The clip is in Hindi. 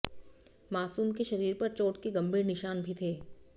मासूम के शरीर पर चोट के गंभीर निशान भी थे